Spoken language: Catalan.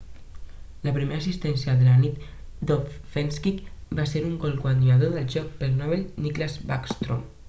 la primera assistència de la nit d'ovechkin va ser en el gol guanyador del joc pel novell nicklas backstrom